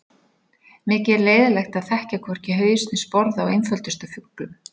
Mikið er leiðinlegt að þekkja hvorki haus né sporð á einföldustu fuglum.